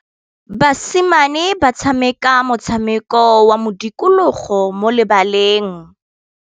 Basimane ba tshameka motshameko wa modikologô mo lebaleng.